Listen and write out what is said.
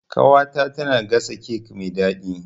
Ƙawata tana gasa kek mai daɗi.